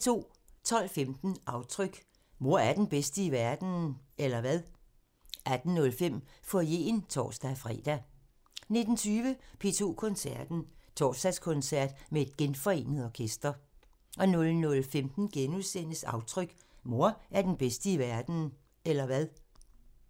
12:15: Aftryk – Mor er den bedste i verden, eller hvad? 18:05: Foyeren (tor-fre) 19:20: P2 Koncerten – Torsdagskoncert med et genforenet orkester 00:15: Aftryk – Mor er den bedste i verden, eller hvad? *